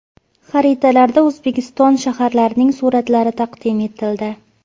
Xaritalar”da O‘zbekiston shaharlarining suratlari taqdim etildi.